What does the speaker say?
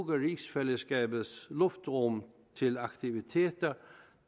rigsfællesskabets luftrum til aktiviteter